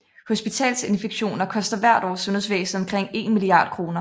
Hospitalsinfektioner koster hvert år sundhedsvæsenet omkring 1 milliard kroner